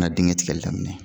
N ga digɛn tigɛli daminɛ